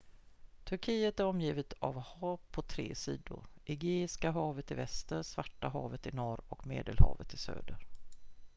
turkiet är omgivet av hav på tre sidor egeiska havet i väster svarta havet i norr och medelhavet i söder